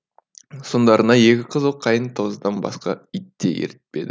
соңдарына екі қызыл қайың тазыдан басқа ит те ертпеді